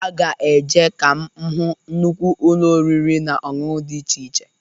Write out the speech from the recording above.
Aga eje ka m hụ nnụkwụ ụnọ oriri na-ọṅụṅụ dị iche iche.